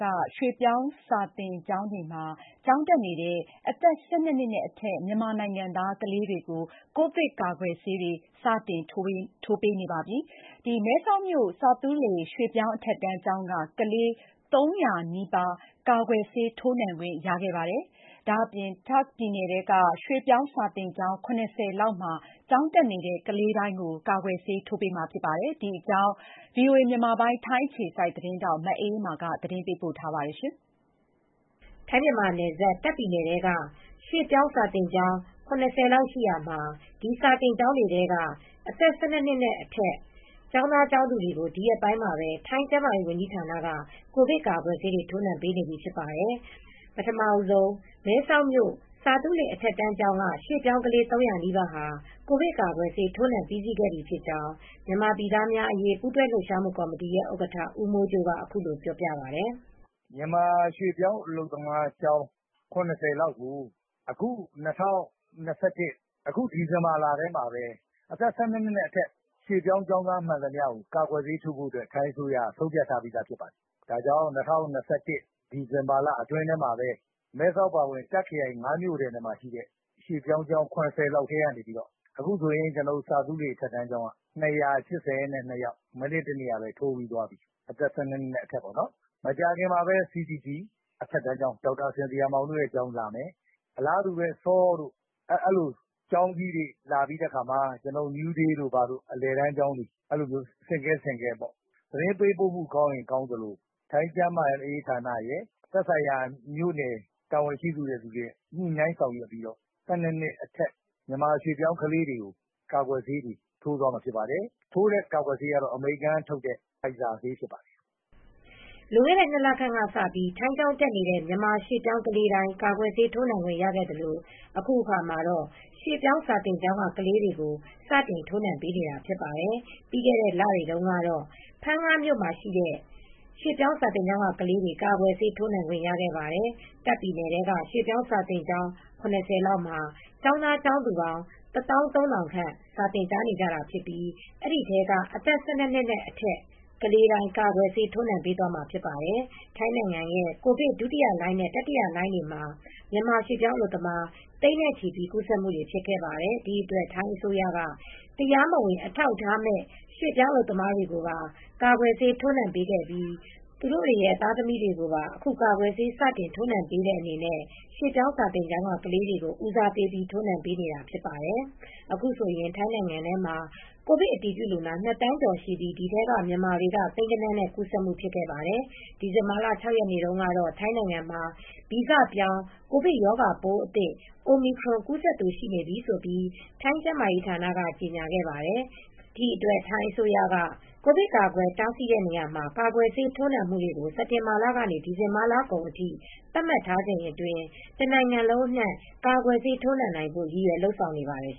က ရွှေ့ပြောင်းစာသင်ကျောင်းတွေမှာ ကျောင်းတက်နေတဲ့ အသက် ၁၂ နှစ်နဲ့အထက် မြန်မာနိုင်ငံသား ကလေးတွေကို ကိုဗစ်ကာကွယ်ဆေးတွေ စတင်ထိုးပေးနေပြီး မဲဆောက်မြို့ ဆာသူးလေ ရွှေ့ပြောင်းအထက်တန်းကျောင်းက ကလေး ၃၀၀ နီးပါး ကာကွယ်ဆေးထိုးနှံခွင့် ရခဲ့ပါတယ်။ ဒါ့အပြင် တာ့ခ်ပြည်နယ်ထဲက ရွှေ့ပြောင်းစာသင်ကျောင်း ၇၀ လောက်မှာ ကျောင်းတက်နေတဲ့ ကလေးတိုင်း ကာကွယ်ဆေးထိုးနှံခွင့် ရမှာဖြစ်ပါတယ်။ အပြည့်အစုံကို ထိုင်းအခြေစိုက် ဗွီအိုအေမြန်မာပိုင်း သတင်းထောက် မအေးအေးမာ တင်ပြပေးထားပါတယ်။ ထိုင်း-မြန်မာနယ်စပ် တာ့ခ်ပြည်နယ်ထဲက ရွှေ့ပြောင်းစာသင်ကျောင်းပေါင်း ၇၀ လောက်ရှိရာမှာ ဒီစာသင်ကျောင်းတွေထဲက အသက် ၁၂ နှစ်နဲ့အထက် ကျောင်းသားကျောင်းသူတွေကို ဒီရက်ပိုင်းမှာပဲ ထိုင်းကျန်းမာရေးဝန်ကြီးဌာနက ကိုဗစ်ကာကွယ်ဆေးတွေ ထိုးနှံပေးနေပြီ ဖြစ်ပါတယ်။ ပထမဦးဆုံး မဲဆောက်မြို့ ဆာသူးလေ အထက်တန်းကျောင်းက ရွှေ့ပြောင်းကလေး ၃၀၀ နီးပါးဟာ ကိုဗစ်ကာကွယ်ဆေး ထိုးနှံပြီးစီးခဲ့ပြီဖြစ်ကြောင်း မြန်မာပြည်သားများအရေး ပူးတွဲလှုပ်ရှားမှု ကော်မတီရဲ့ ဥက္ကဋ္ဌ ဦးမိုးကြိုးက အခုလိုပြောပါတယ်။ “မြန်မာရွှေ့ပြောင်းအလုပ်သမားကျောင်း ၇၀ လောက်ကို ၂၀၂၁ ဒီဇင်ဘာလထဲမှာပဲ အသက် ၁၂ နှစ်အထက် ရွှေ့ပြောင်းကျောင်းသားအားလုံးကို ထိုင်းအစိုးရက ကာကွယ်ဆေးထိုးပေးဖို့ ဆုံးဖြတ်ထားပါတယ်။ ၂၀၂၁ ဒီဇင်ဘာလထဲမှာပဲ မဲဆောက်အပါအဝင် တာ့ခ်ပြည်နယ် ၅ မြို့နယ်ထဲမှာရှိတဲ့ စာသင်ကျောင်း ၇၀ လောက်ထဲက အခုဆိုရင် ဆာသူးလေ အထက်ကျောင်းကဆိုရင် ကျောင်းသားကျောင်းသူပေါင်း ၂၈၂ ယောက် အသက် ၁၂ နှစ်အထက်တွေ ထိုးပြီးသွားပြီး မကြာခင်မှာပဲ ဒေါက်တာစင်သီယာကျောင်း CDC တို့၊ SAW ကျောင်းတို့ အဲဒီလို ကျောင်းကြီးတွေ လာပြီးရင်တော့ New Day တို့လို အလယ်တန်းကျောင်းတွေ လာမယ်။ သတင်းပေးပို့မှုတွေ ကောင်းရင်ကောင်းသလိုပေါ့။ ထိုင်းကျန်းမာရေးဌာနရယ် သက်ဆိုင်ရာ မြို့နယ်တာဝန်ရှိသူတွေ ညှိနှိုင်းဆောင်ရွက်ပြီးတော့ အသက် ၁၂ နှစ် အထက် ရွှေ့ပြောင်းကလေးတွေကို ကာကွယ်ဆေး ထိုးပေးပါမယ်။ ထိုးတဲ့ဆေးကတော့ အမေရိကန်ထုတ်တဲ့ Pfizer ဆေး ဖြစ်ပါတယ်။” လွန်ခဲ့တဲ့ ၂ လခန့်ကစပြီး ထိုင်းကျောင်းတက်နေတဲ့ မြန်မာရွှေ့ပြောင်းကလေးတိုင်း ကာကွယ်ဆေးထိုးနှံခွင့် ရခဲ့သလို အခုအခါမှာတော့ ရွှေ့ပြောင်းစာသင်ကျောင်းက ကလေးတွေကို စတင်ထိုးပေးနေတာ ဖြစ်ပါတယ်။ ပြီးခဲ့တဲ့လတွေတုန်းကတော့ ဖန်းငမှာရှိတဲ့ ရွှေ့ပြောင်းစာသင်ကျောင်းက ကလေးတွေ ကာကွယ်ဆေးထိုးနှံခွင့် ရခဲ့ပါတယ်။ တာ့ခ်ပြည်နယ်ထဲက ရွှေ့ပြောင်းစာသင်ကျောင်း ၇၀ လောက်မှာ ကျောင်းသားကျောင်းသူပေါင်း ၁၃,၀၀၀ ခန့် စာသင်ကြားနေကြတာဖြစ်ပြီး ဒီထဲက အသက် ၁၂ နှစ်အထက် ကလေးတိုင်း ကာကွယ်ဆေး ထိုးနှံပေးသွားမှာ ဖြစ်ပါတယ်။ ထိုင်းနိုင်ငံရဲ့ ကိုဗစ်ဒုတိယလှိုင်းနဲ့ တတိယလှိုင်းတွေမှာ မြန်မာရွှေ့ပြောင်းအလုပ်သမားတွေ သိန်းနဲ့ချီပြီး ကူးစက်မှု ဖြစ်ခဲ့ပါတယ်။ ဒီအတွက် ထိုင်းအစိုးရက တရားမဝင် အထောက်အထားမဲ့ ရွှေ့ပြောင်းအလုပ်သမားတွေကိုပါ ကာကွယ်ဆေး ထိုးနှံပေးခဲ့ပြီး သူတို့တွေရဲ့ သားသမီးတွေကိုပါ အခု ကာကွယ်ဆေး စတင်ထိုးနှံပေးတဲ့ အနေနဲ့ ရွှေ့ပြောင်းစာသင်ကျောင်းက ကလေးတွေကို ဦးစားပေးပြီး ထိုးနှံပေးနေတာ ဖြစ်ပါတယ်။ အခုဆိုရင် ထိုင်းနိုင်ငံထဲမှာ ကိုဗစ်အတည်ပြုလူနာ ၂ သန်းကျော်ရှိပြီး ဒီထဲမှာ မြန်မာတွေက သိန်းဂဏန်းနဲ့ ကူးစက်မှု ဖြစ်ခဲ့ပါတယ်။ ဒီဇင်ဘာလ ၆ ရက်နေ့တုန်းကတော့ ထိုင်းနိုင်ငံမှာ ဗီဇပြောင်း ကိုဗစ်ရောဂါပိုးအသစ် Omicron ကူးစက်သူ ရှိနေပြီလို့ ထိုင်းကျန်းမာရေးဌာနက ကြေညာခဲ့ပါတယ်။ ဒီအတွက် ထိုင်းအစိုးရက ကိုဗစ်ကာကွယ်တားဆီးနေရာမှာ ကာကွယ်ဆေးတွေ ထိုးနံှမှုတွေကို စက်တင်ဘာလကနေ ဒီဇင်ဘာလကုန်အထိ သတ်မှတ်ထားချိန်အတွင်း တနိုင်ငံလုံးအနှံ့ ကာကွယ်ဆေး ထိုးနှံနိုင်ဖို့ ရည်ရွယ်လုပ်ဆောင်နေပါတယ်